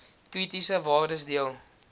kritiese waardes deel